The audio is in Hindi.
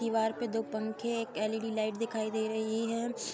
दीवार पे दो पंखे एक लीईडी लाइट दिखाई दे रही है।